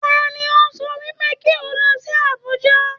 Tani o sọ wípé kí o lọ sí Abùjá?